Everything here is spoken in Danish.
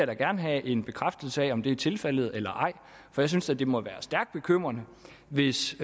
da gerne have en bekræftelse af om det er tilfældet eller ej for jeg synes da det må være stærkt bekymrende hvis